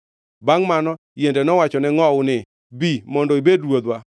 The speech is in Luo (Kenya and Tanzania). “Bangʼ mano, yiende nowachone ngʼowu ni, ‘Bi mondo ibed ruodhwa.’